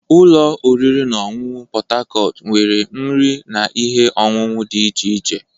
Ụlọ oriri na ọṅụṅụ Pot Tarcot nwere nri na ihe ọṅụṅụ dị iche iche.